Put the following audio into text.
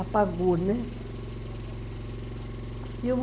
Apagou, né?